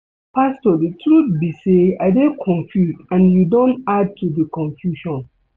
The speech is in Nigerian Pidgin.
Pastor the truth be say I dey confused and you don add to the confusion